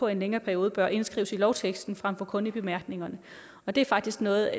en længere periode bør indskrives i lovteksten frem for kun i bemærkningerne og det er faktisk noget